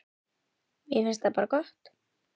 Mér finnst það bara gott.